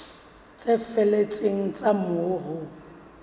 tse felletseng tsa moo ho